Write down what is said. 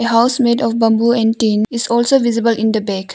A house made of bamboo and tin is also visible in the back.